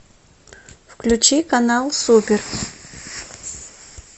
включи канал супер